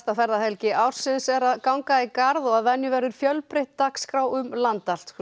ferðahelgi ársins er að ganga í garð að venju verður fjölbreytt dagskrá um land allt